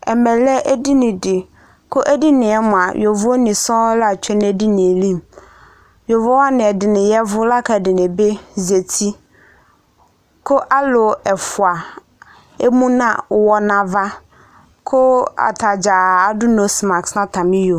Ɛmɛ lɛ edini di kʋ edini yɛ mua yovoni sɔɔŋ la tsue n'edini yɛ li Yovowani ɛdini yavʋ lak'ɛdiŋi bi zati kʋ alʋ ɛfua ɛmu nʋ ɔwɔ n'ava kʋ atadzaa adʋ nɔse mask nʋ iyo